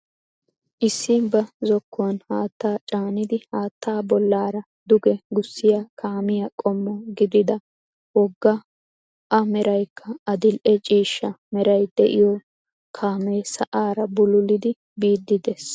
Issi ba zokkuwaan haattaa caanidi haattaa bollaara duge gussiyaa kaamiyaa qommo giidida wogga a meraykka adil"e ciishsha meeray de'iyoo kaamee sa"aara bululidi biidi de'ees.